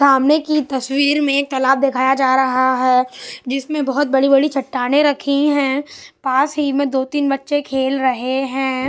सामने की तस्वीर में एक तालाब दिखाया जा रहा है जिसमें बहुत बड़ी-बड़ी चट्टाने रखी हैं पास ही में दो-तीन बच्चे खेल रहे हैं।